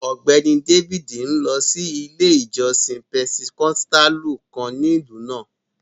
Ọgbẹ́ni Dávídì n lọ sí ilẹ̀ ìjọ̀ṣìn Pẹntẹkọ̀stàlù kàn ní ilú náà.